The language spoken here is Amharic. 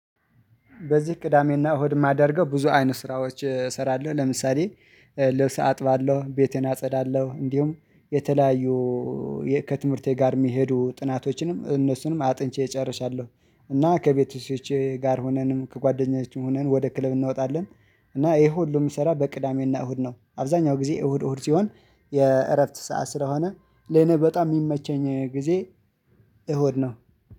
በዚህ ቅዳሜና እሁድ የማደርገው ብዙ አይነት ስራዎች እሰራለሁ ለምሳሌ ልብስ አጥባለሁ ቤቴን አጸዳለሁ እንዲሁም የተለያዩ ከትምህርቴ ጋር የሚሄዱ ጥናቶችንም እነሱንም አጥንቼ እጨርሳለሁ። እና ከቤተሰቦቼ ጋር ሆነንም ከጓደኛዬ ሆነን ወደ ክለብ እናወጣለን። እና ይሄ ሁሉም ይሰራል በቅዳሜና እሁድ ነው። አብዛኛው ጊዜ እሁድ እሁድ ሲሆን የእረፍት ሰዓት ስለሆነ ለኔ በጣም የሚመቸኝ ጊዜ እሁድ ነው